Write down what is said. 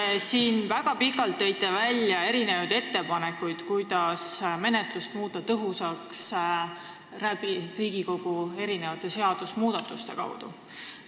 Te tõite väga pikalt välja erinevaid ettepanekuid, kuidas võiks Riigikogu erinevate seadusmuudatuste abil menetlust tõhusamaks muuta.